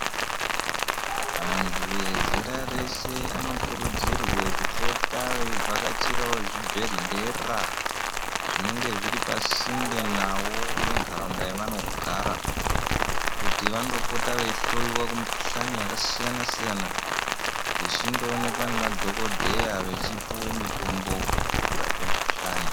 Vantu vezera reshe vanokurudzirwe kupota veivhakachirawo zvibhedhlera zvinenge zviri pasinde navo nendaraunda yevanogara kuti vandopota veihloyiwa kumukhuhlani yakasiyana siyana vechindoonekwa nemadhokodheya vechipuwe mitombo yekurape mikhuhlani.